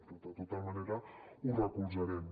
però de tota manera ho recolzarem